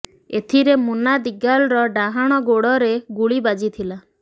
ଏଥିରେ ମୁନା ଦିଗାଲର ଡାହାଣ ଗୋଡରେ ଗୁଳି ବାଜି ଥିଲା